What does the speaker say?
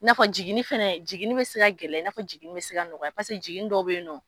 N'a fɔ jiginini fana , jigin bɛ se ka gɛlɛya, i n'a fɔ jiginni bɛ se ka nɔgɔya cogo min na i n'a fɔ jigini dɔw bɛ yen nɔ.